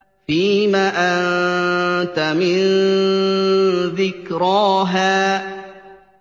فِيمَ أَنتَ مِن ذِكْرَاهَا